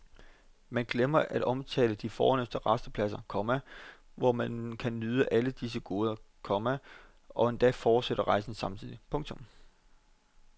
Man glemmer at omtale de fornemste rastepladser, komma hvor man kan nyde alle disse goder, komma og endda fortsætte rejsen samtidig. punktum